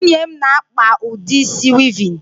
Nwunye m na-akpa udi isi wịịvịn.